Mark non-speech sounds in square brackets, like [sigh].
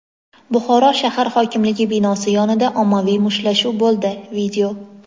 Buxoro shahar hokimligi binosi yonida ommaviy mushtlashuv bo‘ldi. [video]